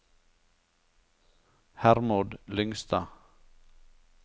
Hermod Lyngstad